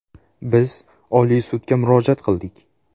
Biz Oliy sudga murojaat qildik.